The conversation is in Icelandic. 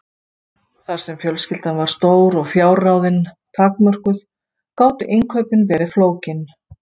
Þar sem fjölskyldan var stór og fjárráðin takmörkuð gátu innkaupin verið flókin.